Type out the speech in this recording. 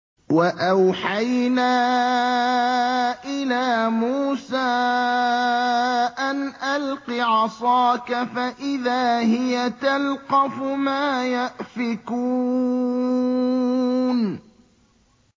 ۞ وَأَوْحَيْنَا إِلَىٰ مُوسَىٰ أَنْ أَلْقِ عَصَاكَ ۖ فَإِذَا هِيَ تَلْقَفُ مَا يَأْفِكُونَ